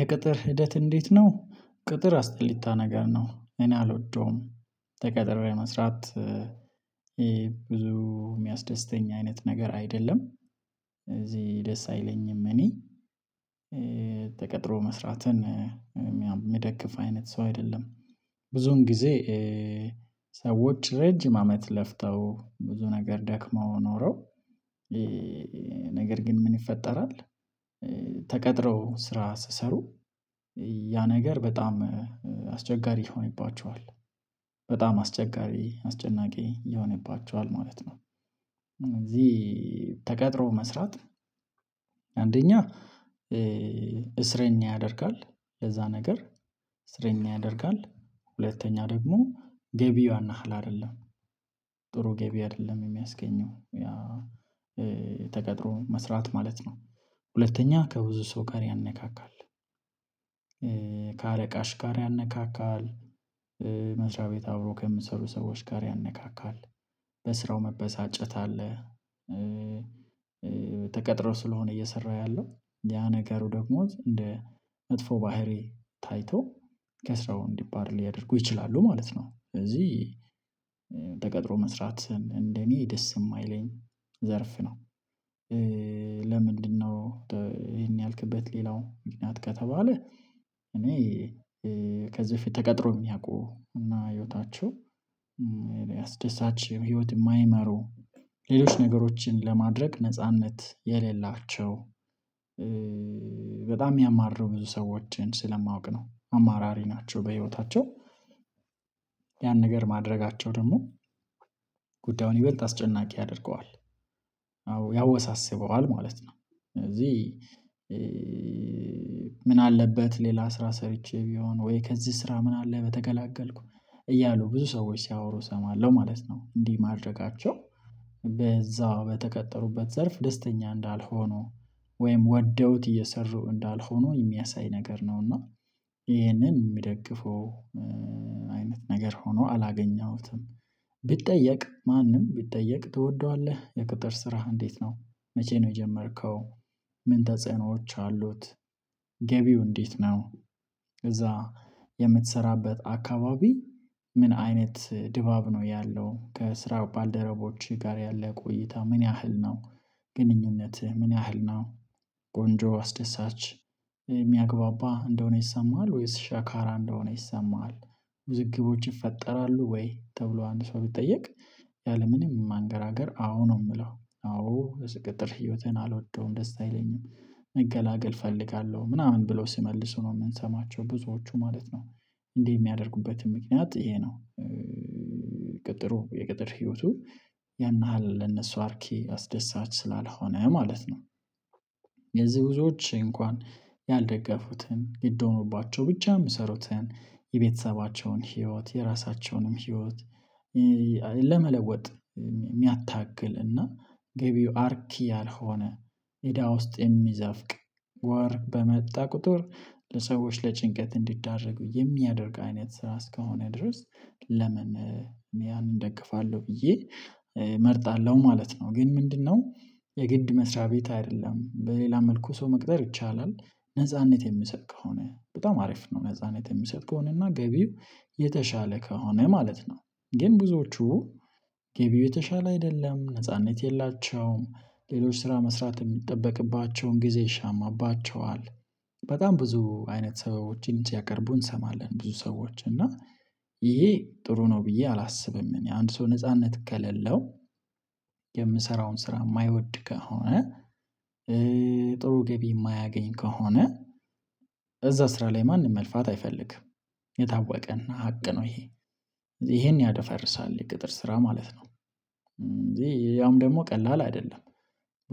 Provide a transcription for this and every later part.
የቅጥር ሂደት እንዴት ነው? ቅጥር አስጠሊታ ነገር ነው እኔ አልወደውም። ተቀጥሬም ለመስራት ይሄ ብዙ የሚያስደስተኝ አይነት ነገር አይደለም። ስለዚህ ደስ አይለኝም እኔ ተቀጥሮ መስራትን የምደግፍ አይነት ሰው አይደለም። ብዙን ጊዜ ሰዎች ረጅም አመት ለፍተው ብዙ ነገር ደክመው ኖረው ነገር ግን ምን ይፈጠራል? ተቀጥረው ስራ ሲሰሩ ያ ነገር በጣም አስቸጋሪ ይሆንባቸዋል በጣም አስቸጋሪ አስጨናቂ ይሆንባቸዋል ማለት ነው። ስለዚህ ተቀጥሮ መስራት አንደኛ እስረኛ ያደርጋል። ለዛ ነገር እስረኛ ያደርጋል ሁለተኛ ደግሞ ገቢዋን አህል አይደለም ጥሩ ገቢ አይደለም የሚያስገኘው ያ ተቀጥሮ መስራት ማለት ነው። ሁለተኛ ከብዙ ሰው ጋር ያነካካል ከአለቃሽ ጋር ያነካካል መስሪያ ቤት አብሮ ከምትሰሩ ሰዎች ጋር ያነካካል በስራው መበሳጨት አለ። ተቀጥሮ ስለሆነ እየሰራ ያለው ያ ነገሩ ደግሞ እንደ መጥፎ ባህርይ ታይቶ ከስራው እንዲባረር ሊያደርጉ ይችላሉ ማለት ነው። በዚህ ተቀጥሮ መስራት እንደኔ ደስ የማይለኝ ዘርፍ ነው። ለምንድነው? ይሄን ያልክበት ሌላው ምክንያት ከተባለ እኔ ከዚህ በፊት ተቀጥሮ የሚያውቁ እና ህይወታችሁ አስደሳች ህይወት የማይመሩ ሌሎች ነገሮችን ለማድረግ ነጻነት የሌላቸው በጣም የሚያማርረው ብዙ ሰዎችን ስለማውቅ ነው። አማራሪ ናቸው በህይወታቸው ያን ነገር ማድረጋቸው ደግሞ ጉዳዩን ይበልጥ አስጨናቂ ያደርገዋል አዎ ያወሳስበዋል ማለት ነው። ስለዚህ ምን አለበት ሌላ ስራ ሰርቼ ቢሆን ወይ ከዚህ ስራ ምን አለ በተገላገልኩ እያሉ ብዙ ሰዎች ሲያወሩ እሰማለሁ ማለት ነው። እንዲህ ማድረጋቸው በዛው በተቀጠሩበት ዘርፍ ደስተኛ ወይም ወደውት እየሰሩ እንዳልሆነ የሚያሳይ ነገር ነው። እና ይሄንን የሚደግፈው አይነት ነገር ሆኖ አላገኘሁትም። ቢጠየቅ ማንም ቢጠየቅ ትወደዋለህ? የቅጥር ስራህ እንዴት ነው መቼ ነው የጀመርከው? ምን ተጽዕኖዎች አሉት? እንዴት ነው? እዛ የምትሰራበት አካባቢ ምን አይነት ድባብ ነው ያለው ከስራ ባልደረቦች ጋር ያለ ቆይታ ምን ያህል ነው? ግንኙነትህ ምን ያህል ነው? ቆንጆ አስደሳች የሚያግባባ እንደሆነ ይሰማሃል ወይስ ሻካራ እንደሆነ ይሰማሃል? ብዝግቦች ይፈጠራሉ ወይ ተብሎ አንድ ሰው ቢጠየቅ ያለምንም ማንገራገር አዎ ነው። የምለው አዎ ለስቅጥር ህይወቴን አልወጣውም ደስ አይለኝም መገላገል እፈልጋለሁ ምናምን ብለው ሲመልሱ ነው የምንሰማቸው ብዙዎቹ ማለት ነው። እንዲህ የሚያደርጉበትን ምክንያት ይሄ ነው። የቅጥር ህይወቱ ያን ያህል ለነሱ አርኪ አስደሳች ስላልሆነ ማለት ነው። የዚህ ብዙዎች እንኳን ያልደገፉትን ይደሙባቸው ብቻ የምሰሩትን የቤተሰባቸውን ህይወት የራሳቸውንም ህይወት ለመለወጥ የሚያታግል እና ገቢው አርኪ ያልሆነ እዳ ውስጥ የሚዘፍቅ ወር በመጣ ቁጥር ለሰዎች ለጭንቀት እንዲዳረጉ የሚያደርግ አይነት ስራ እስካሁን ድረስ ለምን ያንን እደግፋለሁ ብዬ እመርጣለሁ ማለት ነው። ግን ምንድነው? የግድ መስሪያ ቤት አይደለም በሌላ መልኩ ሰው መቅጠር ይቻላል? ነጻነት የሚሰጥ ከሆነ በጣም አሪፍ ነው ነጻነት የሚሰጥ ከሆነ እና ገቢው የተሻለ ከሆነ ማለት ነው። ግን ብዙዎቹ ገቢው የተሻለ አይደለም ነጻነት የላቸውም ሌሎች ስራ መስራት የሚጠበቅባቸውን ጊዜ ይሻማባቸዋል። ብዙ አይነት ሰዎችን ሲያቀርቡ እንሰማለን ብዙ ሰዎች እና ይሄ ጥሩ ነው ብዬ አላስብም። እኔ አንድ ሰው ነጻነት ከሌለው የምሰራውን ስራ የማይወድ ከሆነ ጥሩ ገቢ የማያገኝ ከሆነ እዛ ስራ ላይ ማንም መልፋት አይፈልግም። የታወቀን እና ሀቅ ነው ይሄ ይሄን ያደፈርሳል የቅጥር ስራ ማለት ነው። እንዴ ያውም ደግሞ ቀላል አይደለም።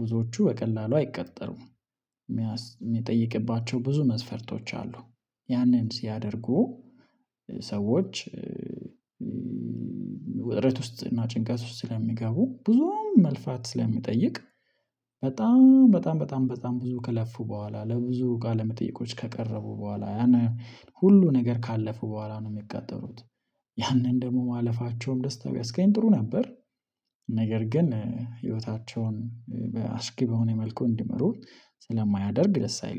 ብዙዎቹ በቀላሉ አይቀጠሩም። የሚጠይቅባቸው ብዙ መስፈርቶች አሉ። ያንን ሲያደርጉ ሰዎች ውስጥ እና ጭንቀት ውስጥ ስለሚገቡ ብዙም መልፋት ስለሚጠይቅ በጣም በጣም በጣም በጣም ብዙ ከለፉ በኋላ ለብዙ ቃለ መጠይቆች ከቀረቡ በኋላ ያን ሁሉ ነገር ካለፉ በኋላ ነው የሚቃጠሩት ያንን ደግሞ ማለፋቸውም ደስታ ቢያስቀኝ ጥሩ ነበር። ነገር ግን ህይወታቸውን በአስጊ በሆነ መልኩ እንዲመሩ ስለማያደርግ ደስ አይልም